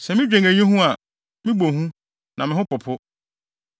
Sɛ midwen eyi ho a, mebɔ hu; na me ho popo.